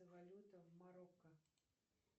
валюта в марокко